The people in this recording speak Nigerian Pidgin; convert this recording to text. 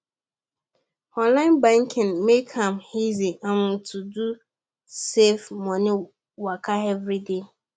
online banking make am easy um to do safe money waka every day